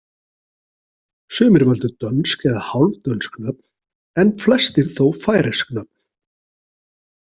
Sumir völdu dönsk eða hálfdönsk nöfn en flestir þó færeysk nöfn.